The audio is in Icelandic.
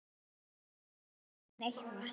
Ég má til með að gefa henni eitthvað.